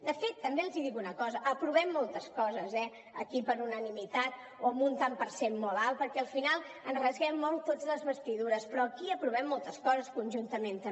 de fet també els dic una cosa aprovem moltes coses eh aquí per unanimitat o amb un tant per cent molt alt perquè al final ens esquincem molt tots les vestidures però aquí aprovem moltes coses conjuntament també